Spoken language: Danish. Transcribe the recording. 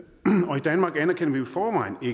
danmark anerkender